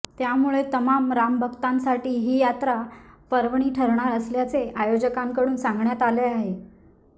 त्यामुळे तमाम रामभक्तांसाठी ही यात्रा पर्वणी ठरणार असल्याचे आयोजकांकडून सांगण्यात आले आहे